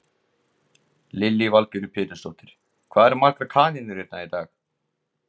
Lillý Valgerður Pétursdóttir: Hvað eru margar kanínur hérna í dag?